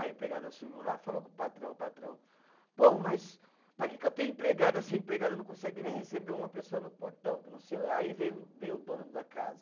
A empregada subiu lá e falou com o patrão, o patrão, pô, mas para que que eu tenho empregada, se a empregada não consegue nem receber uma pessoa no portão, que não sei, aí veio, veio o dono da casa.